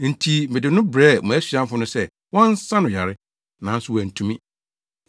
Enti mede no brɛɛ wʼasuafo no sɛ wɔnsa no yare; nanso wɔantumi.”